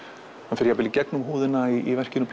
hann fer jafnvel í gegnum húðina í verkinu